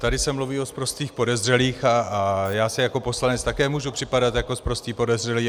Tady se mluví o sprostých podezřelých a já si jako poslanec také můžu připadat jako sprostý podezřelý.